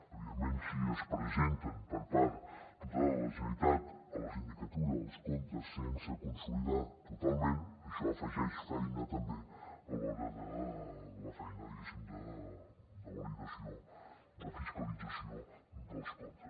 evidentment si es presenten per part de la generalitat a la sindicatura els comptes sense consolidar totalment això afegeix feina també a l’hora de la feina de validació de fiscalització dels comptes